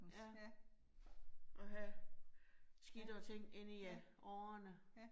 Ja, og have skidtere ting inde i årerne